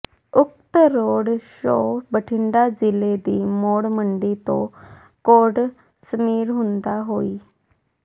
ਉਕਤ road show Bathinda ਜ਼ਿਲ੍ਹੇ ਦੀ ਮੌੜ ਮੰਡੀ ਤੋਂ ਕੋਟਸ਼ਮੀਰ ਹੁੰਦਾ ਹੋਇ